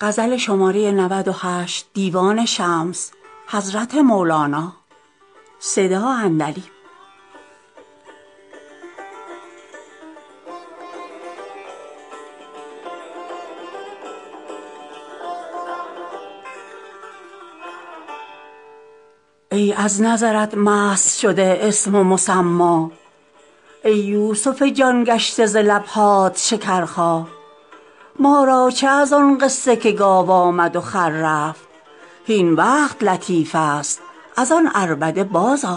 ای از نظرت مست شده اسم و مسما ای یوسف جان گشته ز لب هات شکرخا ما را چه از آن قصه که گاو آمد و خر رفت هین وقت لطیف است از آن عربده بازآ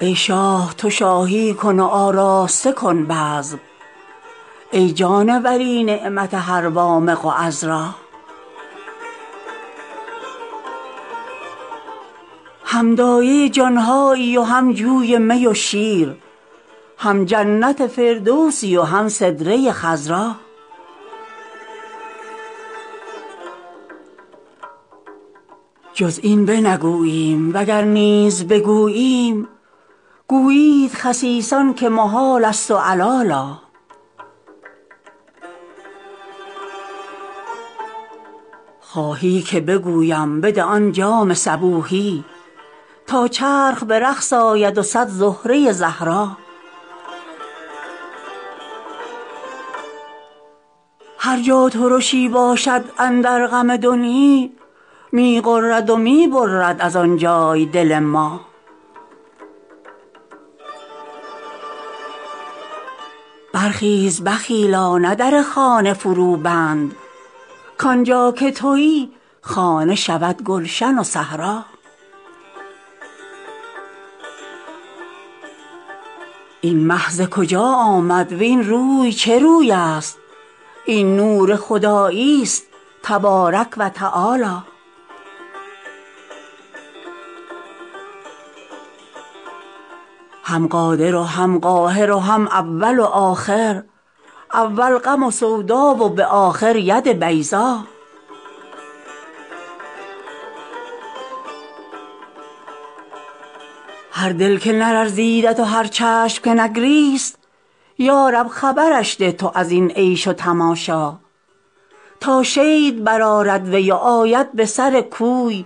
ای شاه تو شاهی کن و آراسته کن بزم ای جان ولی نعمت هر وامق و عذرا هم دایه جان هایی و هم جوی می و شیر هم جنت فردوسی و هم سدره خضرا جز این بنگوییم وگر نیز بگوییم گویند خسیسان که محالست و علالا خواهی که بگویم بده آن جام صبوحی تا چرخ به رقص آید و صد زهره زهرا هر جا ترشی باشد اندر غم دنیا می غرد و می برد از آن جای دل ما برخیز بخیلا نه در خانه فروبند کان جا که توی خانه شود گلشن و صحرا این مه ز کجا آمد وین روی چه روی است این نور خداییست تبارک و تعالی هم قادر و هم قاهر و هم اول و آخر اول غم و سودا و به آخر ید بیضا هر دل که نلرزیدت و هر چشم که نگریست یا رب خبرش ده تو از این عیش و تماشا تا شید برآرد وی و آید به سر کوی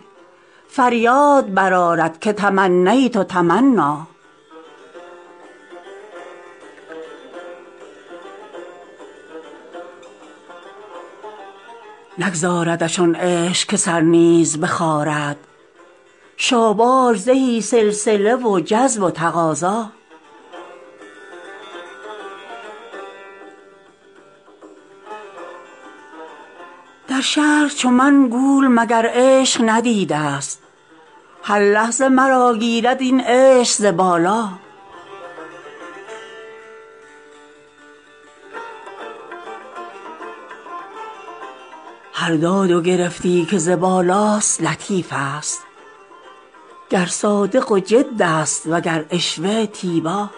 فریاد برآرد که تمنیت تمنا نگذاردش آن عشق که سر نیز بخارد شاباش زهی سلسله و جذب و تقاضا در شهر چو من گول مگر عشق ندیده ست هر لحظه مرا گیرد این عشق ز بالا هر داد و گرفتی که ز بالاست لطیفست گر حاذق جد است وگر عشوه تیبا